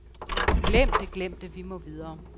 Glem det, glem det, vi må videre.